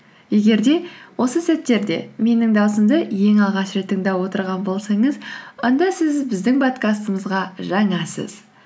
егер де осы сәттерде менің даусымды ең алғаш рет тыңдап отырған болсаңыз онда сіз біздің подкастымызға жаңасыз